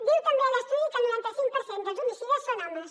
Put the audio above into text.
diu també l’estudi que el noranta cinc per cent dels homicides són homes